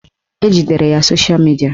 Ejidere ya sosha midia